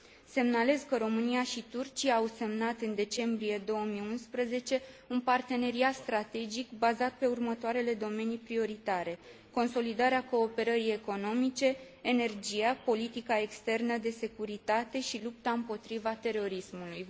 Semnalez că România și Turcia au semnat în decembrie 2011 un parteneriat strategic bazat pe următoarele domenii prioritare consolidarea cooperării economice, energia, politica externă de securitate și lupta împotriva terorismului.